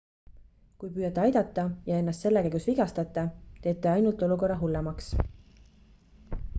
kui püüate aidata ja ennast selle käigus vigastate teete ainult olukorra hullemaks